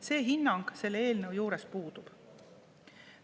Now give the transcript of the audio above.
See hinnang selle eelnõu juures puudub.